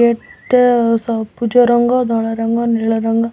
Gate ଟା ସବୁଜରଙ୍ଗ ଧଳାରଙ୍ଗ ନୀଳରଙ୍ଗ।